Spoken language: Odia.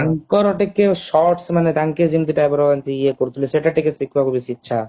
ତାଙ୍କର ଟିକେ shorts ମାନେ ତାଙ୍କେ ଯେମିତି type ର ଇଏ କରୁଥିଲେ ସେଟା ଟିକେ ଶିଖିବାକୁ ବେଶୀ ଇଚ୍ଛା